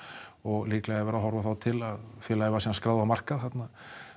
og líklega er verið að horfa til að félagið var skráð á markað þarna